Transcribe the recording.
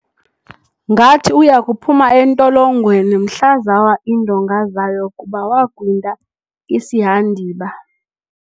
Ngathi uya kuphuma entolongweni mhla zawa iindonga zayo kuba wagwinta isihandiba.